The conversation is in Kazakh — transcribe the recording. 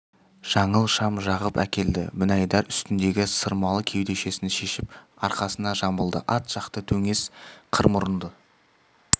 жаңыл шам жағып әкелді мінайдар үстіндегі сырмалы кеудешесін шешіп арқасына жамылды ат жақты дөңес қыр мұрынды